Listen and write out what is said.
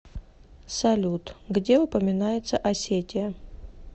салют где упоминается осетия